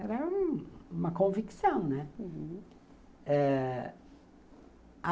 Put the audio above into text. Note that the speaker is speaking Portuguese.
Era uma convicção, né? Uhum.